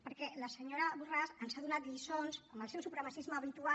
perquè la senyora borràs ens ha donat lliçons amb el seu supremacisme habitual